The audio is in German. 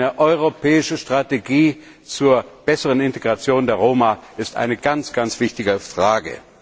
Eine europäische Strategie zur besseren Integration der Roma ist eine ganz wichtige Frage.